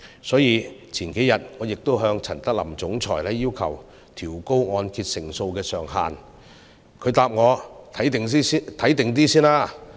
所以，數天前我向陳德霖總裁要求調高按揭成數上限，他回答我"先觀望一下"。